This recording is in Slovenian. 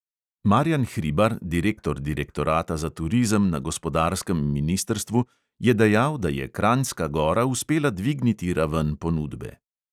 Marjan hribar, direktor direktorata za turizem na gospodarskem ministrstvu, je dejal, da je kranjska gora uspela dvigniti raven ponudbe.